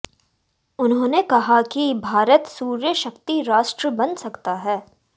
उन्होंने कहा कि भारत सूर्य शक्ति राष्ट्र बन सकता है